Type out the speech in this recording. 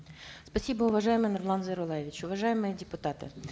спасибо уважаемый нурлан зайроллаевич уважаемые депутаты